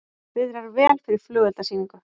Viðrar vel fyrir flugeldasýningu